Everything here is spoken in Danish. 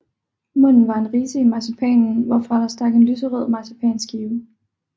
Munden var en ridse i marcipanen hvorfra der stak en lyserød marcipanskive